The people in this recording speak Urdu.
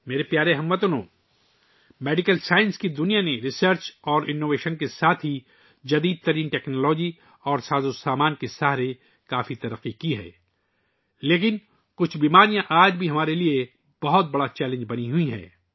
میرے پیارے ہم وطنو، طبی سائنس کی دنیا نے تحقیق اور اختراع کے ساتھ ساتھ جدید ترین ٹیکنالوجی اور آلات کی مدد سے بہت ترقی کی ہے لیکن کچھ بیماریاں آج بھی ہمارے لئے ایک بڑا چیلنج بنی ہوئی ہیں